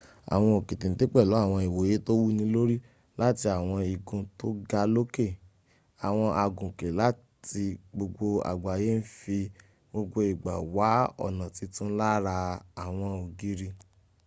àwọn òkè téńté pèlú àwọn ìwòye tó wúni lòrì láti àwọn igun tó ga lókẹ̀. àwọn agùnkè láti gbogbo àgbáyé ń fi gbogbo ìgbà wá ọ̀nà titun láára àwọn ògìri